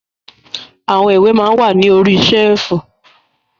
Àwọn ìwé maa ń wà ní orí ṣẹ́ẹ̀fù.